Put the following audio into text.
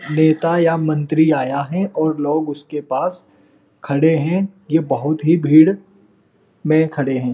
नेता या मंत्री आया है और लोग उसके पास खड़े हैं। ये बहोत ही भीड़ में खड़े हैं।